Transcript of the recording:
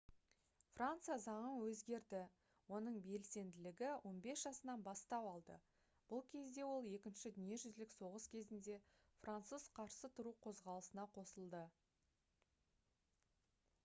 франция заңы өзгерді оның белсенділігі 15 жасынан бастау алды бұл кезде ол екінші дүниежүзілік соғыс кезінде француз қарсы тұру қозғалысына қосылды